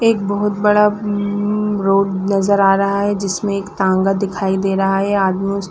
एक बहुत बड़ा रोड नज़र आ रहा है जिसमे एक टांगा दिखाई दे रहा है आदमी उस--